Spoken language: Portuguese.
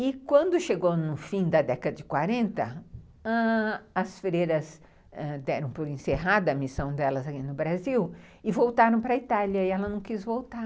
E quando chegou no fim da década de quarenta, ãh... as freiras deram por encerrada a missão delas aqui no Brasil e voltaram para a Itália, e ela não quis voltar.